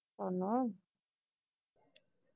ਉਹਨੇ